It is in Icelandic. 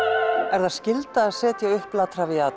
er það skylda að setja upp la